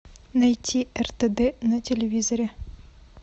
найти ртд на телевизоре